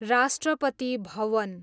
Rashtrapati Bhavan